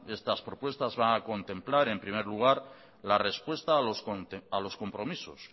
estas propuestas van a contemplar en primer lugar la respuesta a los compromisos